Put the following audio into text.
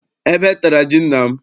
Ebe tara ji nna m.